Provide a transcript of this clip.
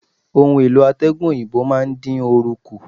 Ohun-èlò atẹgun òyìnbó máa ń dín oru kù.